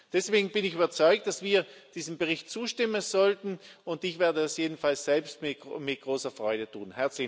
Deswegen bin ich überzeugt, dass wir diesem Bericht zustimmen sollten. Ich werde das jedenfalls selbst mit großer Freude tun.